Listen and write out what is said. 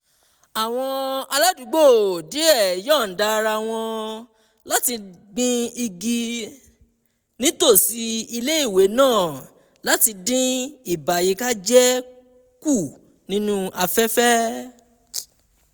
àwọn aládùúgbò díẹ̀ yọ̀ọ̀da ara wọn láti gbin igi nítòsí ilé-ìwé náà láti dín ìbàyíkájẹ́ kù nínú afẹ́fẹ́